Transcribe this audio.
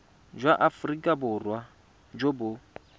jwa aforika borwa jo bo